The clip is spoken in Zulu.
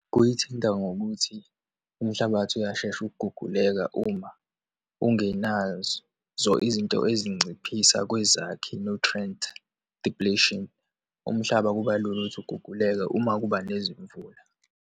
Kuyithinta ngokuthi umhlabathi uyashesha ukuguguleka uma ungenazo izinto ezinciphisa kwizakhi, nutrient depletion. Umhlaba kuba lula ukuthi uguguleke uma kuba nezimvula.